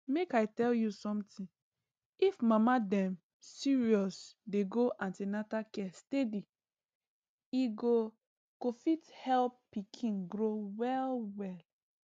make i tell you something if mama dem serious dey go an ten atal care steady e go go fit help pikin grow well well